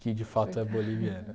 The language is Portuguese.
Que de fato é boliviana.